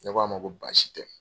Ne k'a ma ko baasi tɛ.